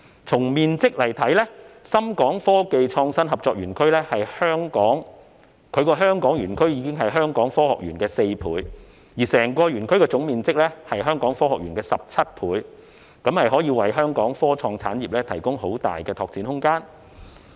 從面積來看，深港科技創新合作園區的香港園區的面積是香港科學園的4倍，而整個園區的總面積更是香港科學園的17倍，可以為香港科創產業提供很大的拓展空間。